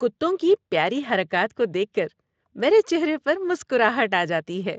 کتوں کی پیاری حرکات کو دیکھ کر میرے چہرے پر مسکراہٹ آ جاتی ہے۔